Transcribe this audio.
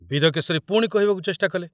ବୀରକେଶରୀ ପୁଣି କହିବାକୁ ଚେଷ୍ଟା କଲେ।